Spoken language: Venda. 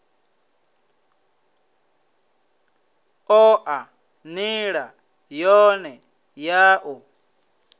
oa nila yone ya u